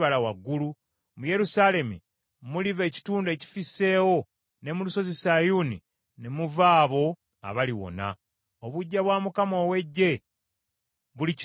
Mu Yerusaalemi muliva ekitundu ekifisseewo, ne mu Lusozi Sayuuni ne muva abo abaliwona. Obuggya bwa Mukama ow’Eggye bulikituukiriza.